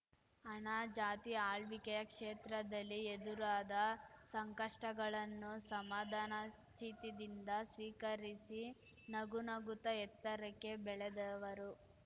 ಹಣ ಜಾತಿ ಆಳ್ವಿಕೆಯ ಕ್ಷೇತ್ರದಲ್ಲಿ ಎದುರಾದ ಸಂಕಷ್ಟಗಳನ್ನು ಸಮಾಧಾನಚಿತ್ತದಿಂದ ಸ್ವೀಕರಿಸಿ ನಗುನಗುತ್ತ ಎತ್ತರಕ್ಕೆ ಬೆಳೆದವರು